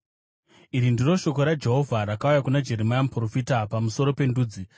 Iri ndiro shoko raJehovha rakauya kuna Jeremia muprofita pamusoro pendudzi: